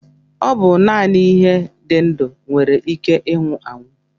Ọ bụ naanị ihe dị ndụ nwere ike ịnwụ anwụ